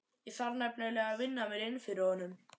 Ég þarf nefnilega að vinna mér inn fyrir honum.